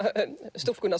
stúlkuna